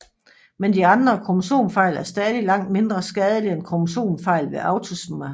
Men de andre kromosomfejl er stadig langt mindre skadelige end kromosomfejl ved autosomerne